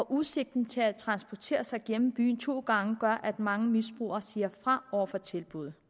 udsigten til at transportere sig gennem byen to gange gør at mange misbrugere siger fra over for tilbuddet